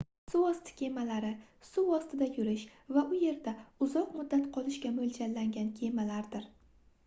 suvosti kemalari suv ostida yurish va u yerda uzoq muddat qolishga moʻljallangan kemalardir